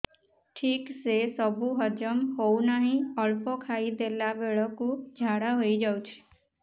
ଠିକସେ ସବୁ ହଜମ ହଉନାହିଁ ଅଳ୍ପ ଖାଇ ଦେଲା ବେଳ କୁ ଝାଡା ହେଇଯାଉଛି